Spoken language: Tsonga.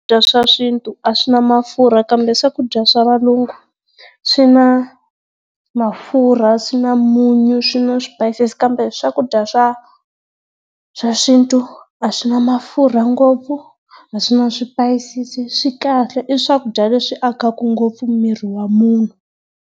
swa xintu a swi na mafurha kambe swakudya swa valungu swi na mafurha, swi na munyu, swi na swipayisisi kambe swakudya swa swa xintu a swi na mafurha ngopfu, a swi na swipayisisi swi kahle i swakudya leswi akaka ngopfu miri wa munhu.